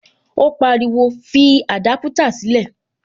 Ó pariwo, fi adaputa sílè